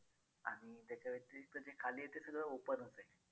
जे खाली आहे ते सगळं open च आहे.